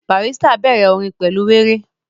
Barrister bẹ̀rẹ̀ orin pẹ̀lú wéré